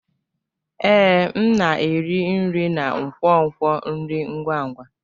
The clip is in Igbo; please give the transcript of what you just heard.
Ee, m na-eri nri na nkwonkwo nri ngwa ngwa.